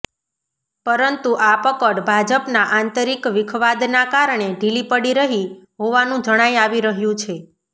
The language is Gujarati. પરંતુ આ પકડ ભાજપના આંતરિક વિખવાદના કારણે ઢીલી પડી રહી હોવાનું જણાઈ આવી રહ્યું છે